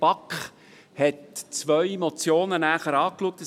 der BaK. Die BaK hat zwei Motionen näher angeschaut.